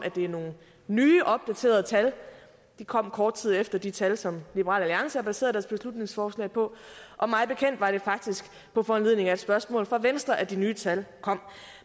det er nogle nye opdaterede tal de kom kort tid efter de tal som liberal alliance har baseret beslutningsforslag på og mig bekendt var det faktisk på foranledning af et spørgsmål fra venstre at de nye tal kom